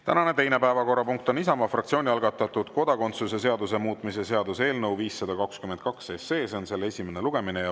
Tänane teine päevakorrapunkt on Isamaa fraktsiooni algatatud kodakondsuse seaduse muutmise seaduse eelnõu 522 esimene lugemine.